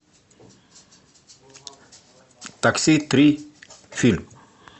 такси три фильм